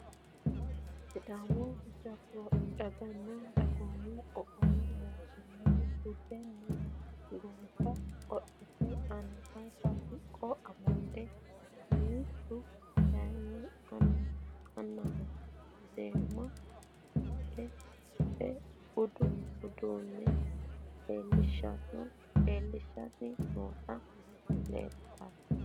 Sidaami daganna dagoomu qoqowu mootimmaha buduniha gonffa qodhite angate siqqo amade mittu kayini aanaho seema wodhe budu uduune leelishani nooti leltano.